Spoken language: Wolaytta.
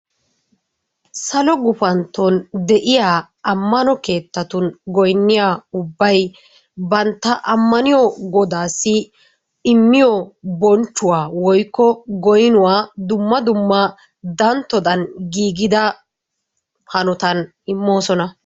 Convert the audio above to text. Salo gufanton de'iya amano keettattun goynniya ubbay banta ammano godaassi immiyo bonchuwa woykko goynnuwa dumma dumma dantodan giigida hanotan immoosona .